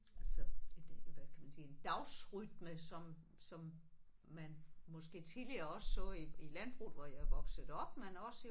Altså et et hvad kan man sige en dagsrytme som som man måske tidligere også så i i landbruget hvor jeg er vokset op men også i